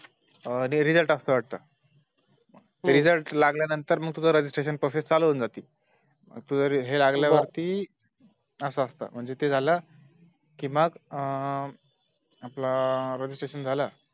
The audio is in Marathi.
अह Result असत वाटत Result लागल्या नंतर Registration Process चालू होऊन जाती मग तुझं हे लागल्यावरती असं सात म्हजे ते झालं कि मग आपलं Registration झालं